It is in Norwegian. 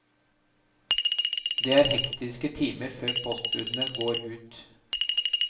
Det er hektiske timer før postbudene går ut.